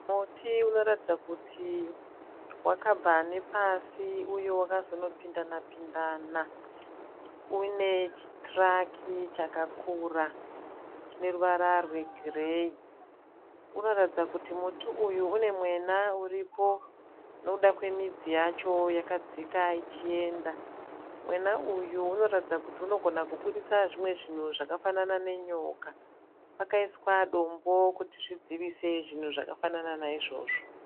Muti unoratidza kuti wakabva nepasi uyo wakazonopindana pindana, une chitiraki chakakura chine ruvara rwegireyi, unoratidza kuti muti uyu une mwena uripo nokuda kwemidzi yacho yakadzika ichienda, mwena uyu unoratidza kuti unogona kuburitsa zvimwe zvinhu zvakafanana nenyoka pakaiswa dombo kuti zvidzivise zvinhu zvakafanana naizvozvo.